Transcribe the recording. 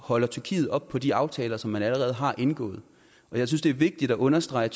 holder tyrkiet op på de aftaler som man allerede har indgået jeg synes det er vigtigt at understrege